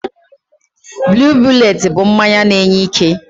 Blue bullet bụ mmanya na-enye ike.